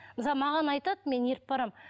мысалы маған айтады мен еріп барамын